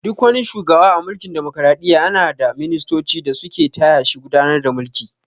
Duk wani shugawa a mulkin damokaraɗiyya yana na ɗa ministoci da su ke taya shi gudanar da mulki